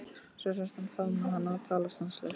Svo sást hann faðma hana og tala stanslaust.